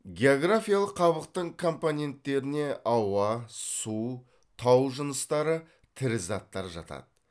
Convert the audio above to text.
географиялық қабықтың компоненттеріне ауа су тау жыныстары тірі заттар жатады